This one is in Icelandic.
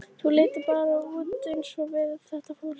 Þau líta bara út eins og við, þetta fólk.